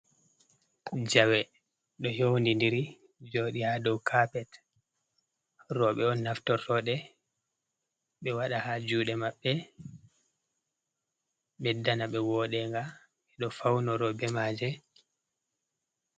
Jawe ɗo youni diri jodi ha dow kapet roɓe on naftortoɗe ɓe wada ha jude maɓɓe ɓedda na ɓe woɗega e'do faunoro be maje.